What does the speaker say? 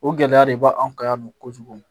O gɛlɛya de b'anw kan yan nɔ kojugu